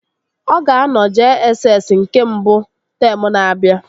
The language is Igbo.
Ọ ga-anọ JSS nke mbụ teemụ na-abịa